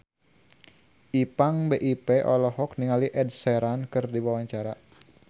Ipank BIP olohok ningali Ed Sheeran keur diwawancara